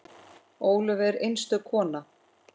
Ólöf var einstök kona.